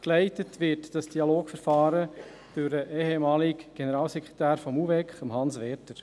Geleitet wird das Dialogverfahren durch den ehemaligen Generalsekretär des UVEK, Hans Werder.